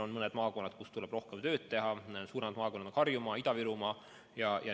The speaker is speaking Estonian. On mõned maakonnad, kus tuleb rohkem tööd teha, suuremad neist on Harjumaa ja Ida-Virumaa.